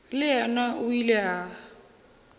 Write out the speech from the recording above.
le yena o ile a